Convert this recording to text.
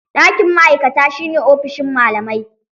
Ɗakin ma'aikata shi ne ofishin malamai.